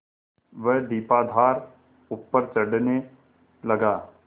वह दीपाधार ऊपर चढ़ने लगा